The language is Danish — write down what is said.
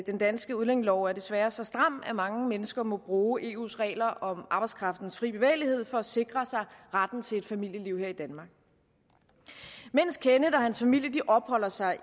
den danske udlændingelov er desværre så stram at mange mennesker må bruge eus regler om arbejdskraftens fri bevægelighed for at sikre sig retten til et familieliv her i danmark mens kenneth og hans familie opholder sig